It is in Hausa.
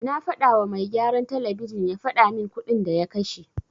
Na fadawa mai gyaran talabijin ya fadamin kuɗin da ya kashe.